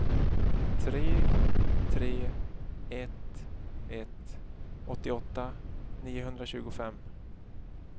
tre tre ett ett åttioåtta niohundratjugofem